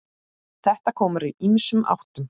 Þetta kom úr ýmsum áttum.